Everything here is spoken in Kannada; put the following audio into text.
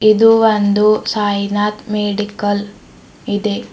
ಇದು ಒಂದು ಸಾಯಿನಾಥ್ ಮೆಡಿಕಲ್ ಇದೆ.